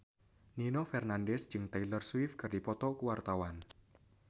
Nino Fernandez jeung Taylor Swift keur dipoto ku wartawan